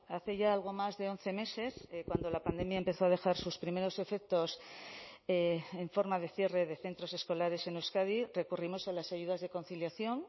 hace ya algo más de once meses cuando la pandemia empezó a dejar sus primeros efectos en forma de cierre de centros escolares en euskadi recurrimos a las ayudas de conciliación